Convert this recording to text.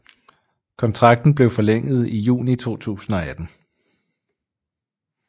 Kontrakten blev forlænget i juni 2018